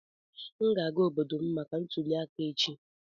M ga-aga obodo m maka ntuli aka echi.